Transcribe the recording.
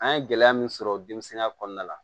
An ye gɛlɛya min sɔrɔ denmisɛnninya kɔnɔna la